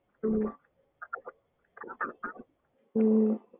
உம் உம் உம்